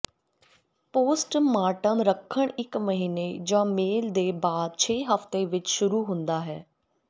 postmortem ਰੱਖਣ ਇੱਕ ਮਹੀਨੇ ਜ ਮੇਲ ਦੇ ਬਾਅਦ ਛੇ ਹਫ਼ਤੇ ਵਿਚ ਸ਼ੁਰੂ ਹੁੰਦਾ ਹੈ